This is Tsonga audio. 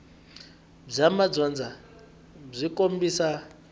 bya madyondza byi kombisa